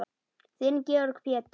Þinn Georg Pétur.